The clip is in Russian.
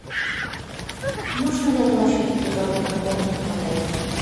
нужно ли оплачивать переговорную комнату в отеле